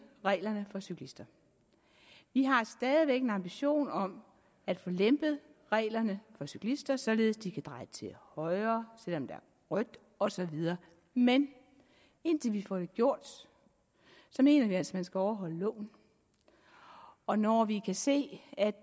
reglerne for cyklister vi har stadig væk en ambition om at få lempet reglerne for cyklister således at de kan dreje til højre selv om der er rødt osv men indtil vi får det gjort mener vi altså at man skal overholde loven og når vi kan se at